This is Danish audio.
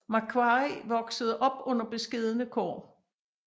Macquarie voksede op under beskedne kår